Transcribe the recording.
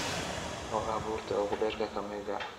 oo ah buurta ugu dheer ee kakamega